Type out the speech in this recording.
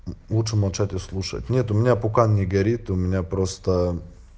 лучше молчать и слушать нет у меня пока не горит и у меня просто